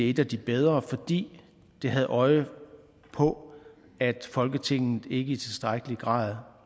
et af de bedre fordi det har et øje på at folketinget ikke i tilstrækkelig grad